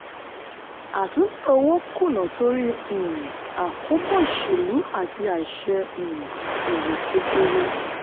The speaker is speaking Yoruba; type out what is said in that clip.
àtúntẹ̀ owó kùnà torí um àkóbá òṣèlú àti àìṣe um èrò kedere.